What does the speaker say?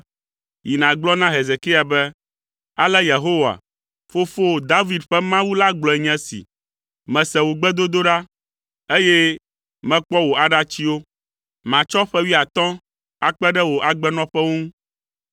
“Yi nàgblɔ na Hezekia be, ‘Ale Yehowa, fofowò David ƒe Mawu la gblɔe nye esi, “Mese wò gbedodoɖa, eye mekpɔ wò aɖatsiwo. Matsɔ ƒe wuiatɔ̃ akpe ɖe wò agbenɔƒewo ŋu.”